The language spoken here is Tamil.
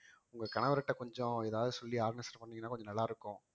உங்க கணவர்ட்ட கொஞ்சம் ஏதாவது சொல்லி பண்ணீங்கன்னா கொஞ்சம் நல்லா இருக்கும்